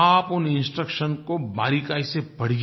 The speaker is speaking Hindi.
आप उन इंस्ट्रक्शंस को बारीकी से पढ़िए